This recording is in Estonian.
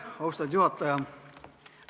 Austatud juhataja!